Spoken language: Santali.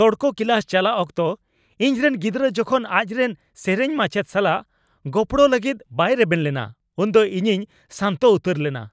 ᱥᱚᱲᱠᱚ ᱠᱞᱟᱥ ᱪᱟᱞᱟᱜ ᱚᱠᱛᱚ ᱤᱧ ᱨᱮᱱ ᱜᱤᱫᱽᱨᱟᱹ ᱡᱚᱠᱷᱚᱱ ᱟᱡ ᱨᱮᱱ ᱥᱮᱹᱨᱮᱹᱧ ᱢᱟᱪᱮᱫ ᱥᱟᱞᱟᱜ ᱜᱚᱯᱲᱚ ᱞᱟᱹᱜᱤᱫ ᱵᱟᱭ ᱨᱮᱵᱮᱱ ᱞᱮᱱᱟ ᱩᱱᱫᱚ ᱤᱧᱤᱧ ᱥᱟᱱᱛᱚ ᱩᱛᱟᱹᱨ ᱞᱮᱱᱟ ᱾